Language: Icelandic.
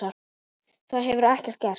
Þar hefur ekkert gerst.